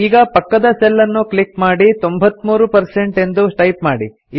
ಈಗ ಪಕ್ಕದ ಸೆಲ್ ಅನ್ನು ಕ್ಲಿಕ್ ಮಾಡಿ 93 ಪರ್ಸೆಂಟ್ ಎಂದು ಟೈಪ್ ಮಾಡಿ